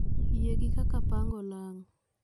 Yie gi kak apango olang